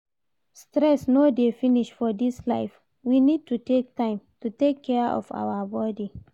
Stress no dey finish for this life, we need to take time to take care of our body